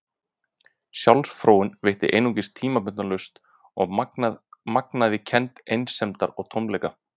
Sjálfsfróun veitti einungis tímabundna lausn og magnaði kennd einsemdar og tómleika.